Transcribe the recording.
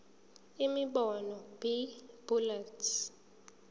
imibono b bullets